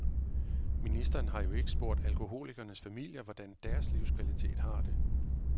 Ministeren har jo ikke spurgt alkoholikernes familier, hvordan deres livskvalitet har det.